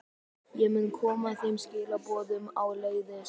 Ég mun koma þeim skilaboðum áleiðis.